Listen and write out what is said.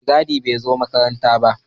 Yau mai gadi bai zo makaranta ba